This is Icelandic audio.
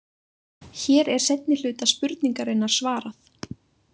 Hér er seinni hluta spurningarinnar svarað.